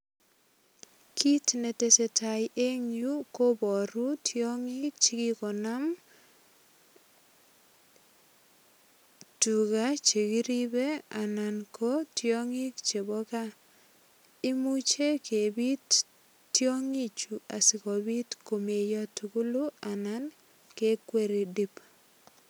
Kit ne tesetai eng yu kobaru tiongik chigonam anan ko tiangik chebo kaa. Imuchekepit tiongichu asigopit komeiyo tugulu anan kekweri dip.